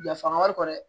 Yafa wari kɔ dɛ